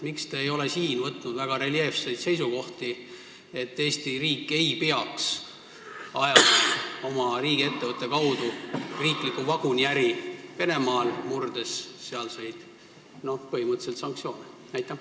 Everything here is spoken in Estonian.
Miks te ei ole võtnud väga reljeefseid seisukohti, et Eesti riik ei tohiks oma riigiettevõtte kaudu ajada vaguniäri Venemaal, põhimõtteliselt sanktsioone murdes?